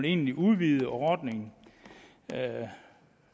egentlig at udvide ordningen